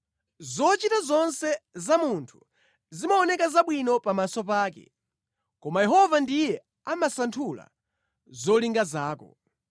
Zochita zonse za munthu zimaoneka zabwino pamaso pake, koma Yehova ndiye amasanthula zolinga zako.